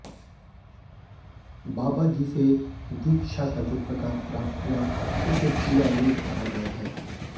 बाबा जी से दीक्षा का जो प्रकार प्राप्त हुआ उसे क्रियायोग कहा गया है